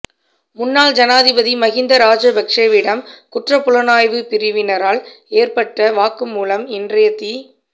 முன்னாள் ஜனாதிபதி மஹிந்த ராஜபக்ஷவிடம் குற்றப்புலனாய்வுப் பிரிவினரால் பெறப்பட்ட வாக்குமூலம் இன்றைய தி